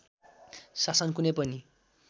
शासन कुनै पनि